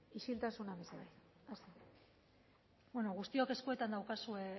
isiltasuna mesedez guztiok eskuetan daukazue